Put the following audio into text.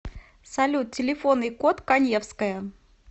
салют телефонный код каневская